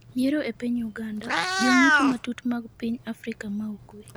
Yiero e piny Uganda :jong'icho matut mag piny Afrika ma ugwe